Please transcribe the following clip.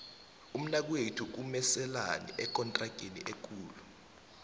umnakwethu komeselani ekontrageni ekulu